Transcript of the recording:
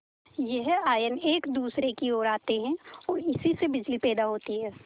यह आयन एक दूसरे की ओर आते हैं ओर इसी से बिजली पैदा होती है